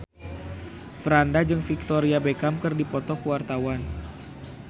Franda jeung Victoria Beckham keur dipoto ku wartawan